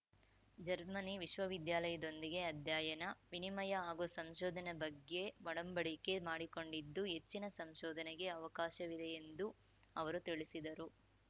Germany ವಿಶ್ವವಿದ್ಯಾಲಯದೊಂದಿಗೆ ಅಧ್ಯಯನ ವಿನಿಮಯ ಹಾಗೂ ಸಂಶೋಧನೆ ಬಗ್ಗೆ ಒಡಂಬಡಿಕೆ ಮಾಡಿಕೊಂಡಿದ್ದು ಹೆಚ್ಚಿನ ಸಂಶೋಧನೆಗೆ ಅವಕಾಶವಿದೆ ಎಂದು ಅವರು ತಿಳಿಸಿದರು